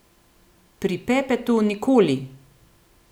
Pri Pepetu nikoli!